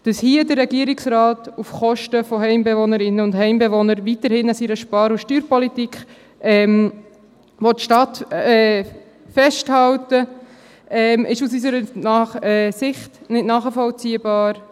Dass hier der Regierungsrat auf Kosten von Heimbewohnerinnen und Heimbewohnern weiterhin an seiner Spar- und Steuerpolitik festhalten will, ist aus unserer Sich nicht nachvollziehbar.